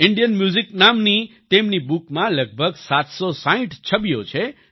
Indian music નામની તેમની બુકમાં લગભગ 760 છબીઓ છે